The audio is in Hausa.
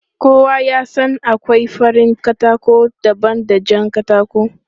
Kowa ya san akwai farin katako daban da jan katako.